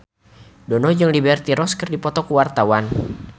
Dono jeung Liberty Ross keur dipoto ku wartawan